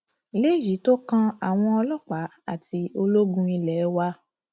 léyìí tó kan àwọn ọlọpàá àti ológun ilé wa